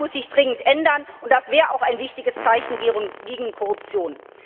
Das muss sich dringend ändern, und das wäre auch ein wichtiges Zeichen gegen Korruption.